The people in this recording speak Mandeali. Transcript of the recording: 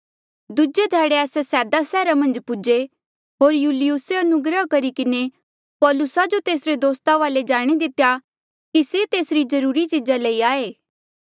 दूजे ध्याड़े आस्से सैदा रे सैहरा मन्झ पूजे होर यूलियुसे अनुग्रह करी किन्हें पौलुसा जो तेसरे दोस्ता वाले जाणे दितेया कि से तेसरी जरूरी चीज़ा लेई आये